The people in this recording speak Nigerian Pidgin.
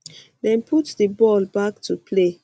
dem put di ball back to play